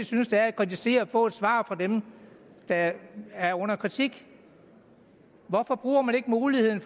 synes der er at kritisere og få et svar fra dem der er under kritik hvorfor bruger man ikke muligheden